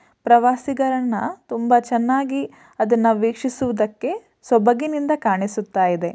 ಪ್ರವಾಸಿಗರನ್ನ ತುಂಬಾ ಚೆನ್ನಾಗಿ ಅದನ್ನ ವೀಕ್ಷಿಸುವುದಕ್ಕೆ ಸೊಬಗಿನಿಂದ ಕಾಣಿಸುತ್ತಾಯಿದೆ.